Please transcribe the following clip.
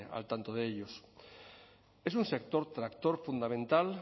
al tanto de ellos es un sector tractor fundamental